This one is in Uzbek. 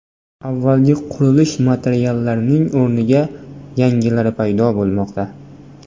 Avvalgi qurilish materiallarining o‘rniga yangilari paydo bo‘lmoqda.